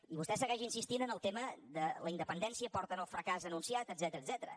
i vostè segueix insistint en el tema de la independència i porten el fracàs anunciat etcètera